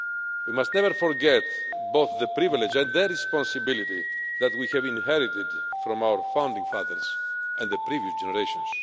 We must never forget both the privilege and the responsibility that we have inherited from our founding fathers and the previous generations.